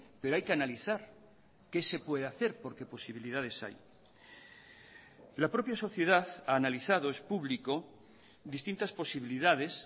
pero hay que analizar qué se puede hacer porque posibilidades hay la propia sociedad ha analizado es público distintas posibilidades